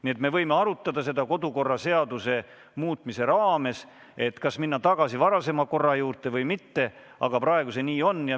Nii et me võime arutada kodukorraseaduse muutmist, seda, kas minna tagasi varasema korra juurde või mitte, aga praegu see nii on.